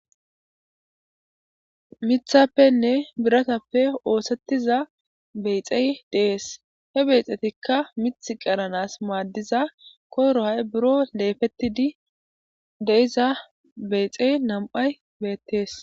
Mithappene birathape osetiza bexee de7es. He bexetikka mithi qeranas madiza Koyro hay buro leepetidi de7iza beexe nam7ay beetees.